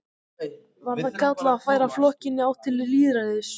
Var það kallað að færa flokkinn í átt til lýðræðis.